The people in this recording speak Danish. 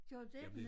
Gjorde du det?